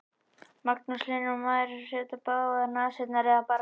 Magnús Hlynur: Á maður að setja í báðar nasirnar eða bara aðra?